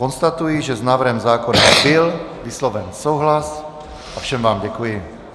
Konstatuji, že s návrhem zákona byl vysloven souhlas a všem vám děkuji.